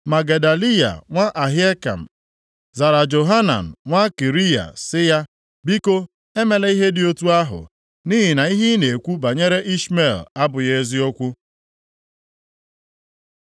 Ma Gedaliya nwa Ahikam zara Johanan nwa Kariya sị ya, “Biko, emela ihe dị otu ahụ! Nʼihi na ihe ị na-ekwu banyere Ishmel abụghị eziokwu.”